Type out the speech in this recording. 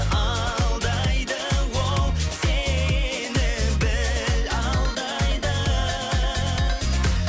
алдайды ол сені біл алдайды